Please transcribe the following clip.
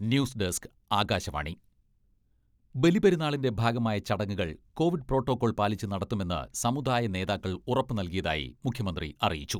News desk, Akashvani ബലിപെരുന്നാളിന്റെ ഭാഗമായ ചടങ്ങുകൾ കോവിഡ് പ്രോട്ടോകോൾ പാലിച്ച് നടത്തുമെന്ന് സമുദായ നേതാക്കൾ ഉറപ്പ് നൽകിയതായി മുഖ്യമന്ത്രി അറിയിച്ചു.